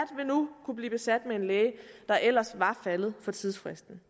vil nu kunne blive besat med en læge der ellers var faldet for tidsfristen